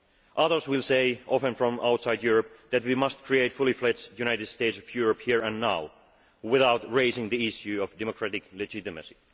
Others will say often from outside Europe that we must create a fully fledged United States of Europe here and now, without raising the issue of democratic legitimacy.